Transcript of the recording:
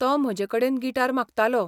तो म्हजेकडेन गिटार मागतालो.